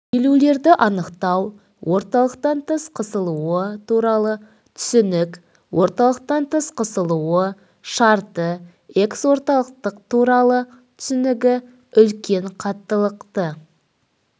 иілулерді анықтау орталықтан тыс қысылуы туралы түсінік орталықтан тыс қысылуы шарты эксорталықтық туралы түсінігі үлкен қаттылықты